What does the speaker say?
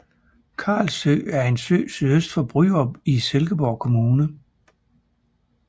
Karlsø er en sø sydøst for Bryrup i Silkeborg Kommune